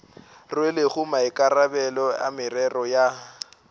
rwelego maikarabelo a merero ya